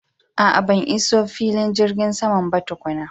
A'a ban iso filin jigin saman ba tukuna.